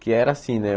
Que era assim, né?